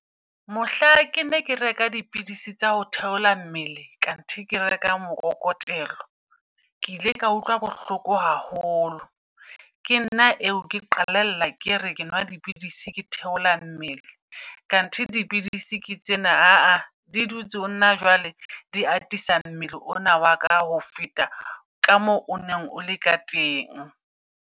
Mohla ke ne ke reka dipidisi tsa ho theola mmele kanthe, ke reka mokokotelo. Ke ile ka utlwa bohloko haholo. Ke nna eo ke qalella ke re ke nwa dipidisi ke theola mmele. Khanthi dipidisi ke tsena aa di dutse honna jwale di atisang mmele ona wa ka ho feta ka moo o neng o le ka teng.